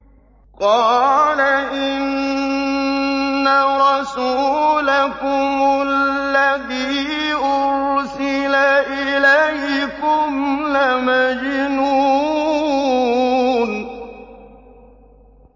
قَالَ إِنَّ رَسُولَكُمُ الَّذِي أُرْسِلَ إِلَيْكُمْ لَمَجْنُونٌ